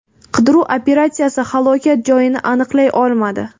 Qidiruv operatsiyasi halokat joyini aniqlay olmadi.